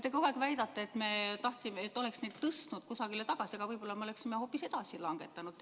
Te kogu aeg väidate, et me tahtsime, et me oleksime tõstnud kusagile tagasi, aga võib-olla me oleksime hoopis edasi langetanud.